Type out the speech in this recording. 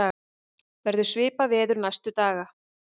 verður svipað veður næstu daga